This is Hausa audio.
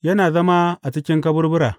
Yana zama a cikin kaburbura.